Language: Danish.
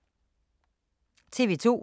TV 2